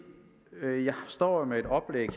jeg her står med et oplæg